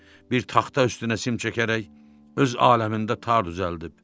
Bir taxta üstünə sim çəkərək öz aləmində tar düzəldib.